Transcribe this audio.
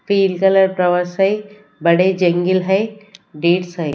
पिल colour towers हैं बड़े जेंगल हैं डेट्स हैं।